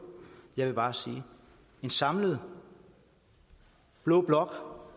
jeg vil bare sige at en samlet blå blok